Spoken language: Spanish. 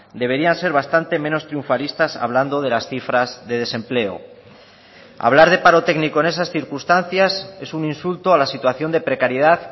deberían ser bastante menos triunfalistas hablando de las cifras de desempleo hablar de paro técnico en esas circunstancias es un insulto a la situación de precariedad